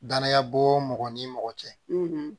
Danaya bo mɔgɔ ni mɔgɔ cɛ